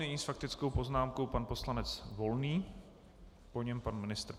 Nyní s faktickou poznámkou pan poslanec Volný, po něm pan ministr.